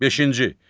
Beşinci.